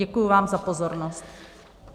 Děkuji vám za pozornost.